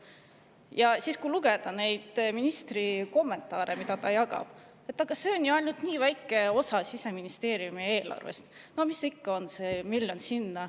Ja siis lugege ministri kommentaare, mida ta jagab: aga see on ju ainult nii väike osa Siseministeeriumi eelarvest, mis see ikka on, see miljon siia-sinna.